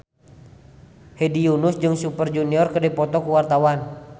Hedi Yunus jeung Super Junior keur dipoto ku wartawan